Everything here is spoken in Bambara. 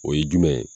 O ye jumɛn ye